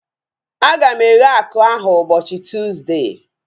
A ga m eghe akụ ahu ụbọchị Tuuzde